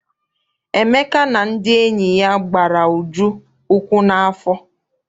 Emeka na ndị enyi ya gbara Uju ukwu n'afọ.